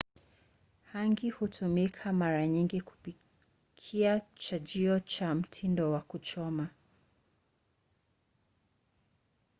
hangi hutumika mara nyingi kupikia chajio cha mtindo wa kuchoma